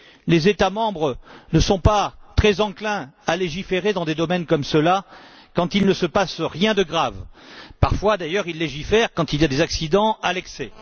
Les États membres ne sont pas très enclins à légiférer dans des domaines comme ceux là quand il ne se passe rien de grave. Parfois, d'ailleurs, ils légifèrent quand il y a des accidents à l'excès.